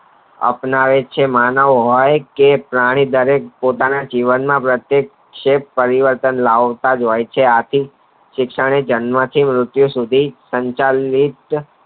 આપ્નાવે એ જ છે માનવ એ પ્રાણી તે પોતાના જીવ માટે પરિવર્ત લાવતાજ હોય છે આથી શિક્ષણ જન્મ થી મૃતયુ સુધી